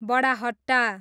बडाहट्टा